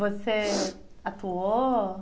Você atuou?